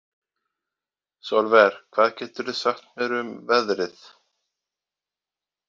Sólver, hvað geturðu sagt mér um veðrið?